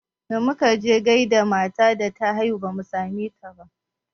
Da muka je gaida matan da ta haihu bamu same ta ba